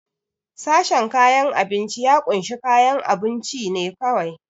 Sashen kayan abinci ya kunshi kayan abunci ne kawai.